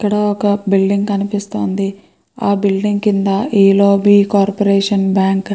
ఇక్కడ ఒక బిల్డింగ్ కనిపిస్తోంది. ఆ బిల్డింగ్ కింద కార్పొరేషన్ బ్యాంక్ అని --